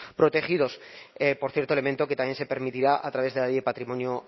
protegidos por cierto elemento que también se permitirá a través de la ley de patrimonio